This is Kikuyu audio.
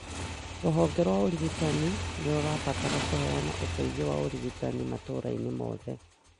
Rũhonge rwa ũrigitani nĩ rũrabatara kũheana ũteithio wa ũrigitani matũra-inĩ mothe.